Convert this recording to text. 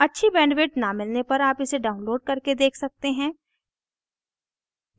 अच्छी bandwidth न मिलने पर आप इसे download करके देख सकते हैं